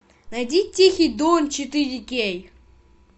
найди тихий дон четыре кей